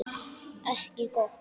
Ekki gott.